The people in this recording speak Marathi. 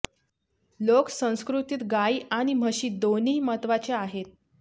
लोक संस्कृतीत गायी आणि म्हशी दोन्ही महत्वाच्या आहेत